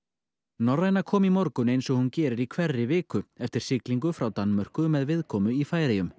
norræna kom í morgun eins og hún gerir í hverri viku eftir siglingu frá Danmörku með viðkomu í Færeyjum